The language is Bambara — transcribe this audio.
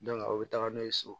o bɛ taga n'o ye so